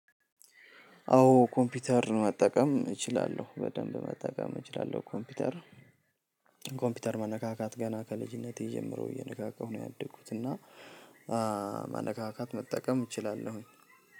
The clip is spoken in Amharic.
አዎ ኮምፒውተርን መጠቀም እችላለሁ በደንብ መጠቀም እችላለሁ። ኮምፒውተር ኮምፒውተር መነካካት ገና ከልጅነቴ ጀምሮ እየነካካሁ ነው ያደኩት። እና መነካካት መጠቀም እችላለሁ።